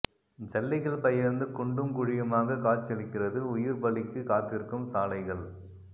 ஜல்லிகள் பெயர்ந்து குண்டும் குழியுமாக காட்சியளிக்கிறது உயிர் பலிக்கு காத்திருக்கும் சாலைகள்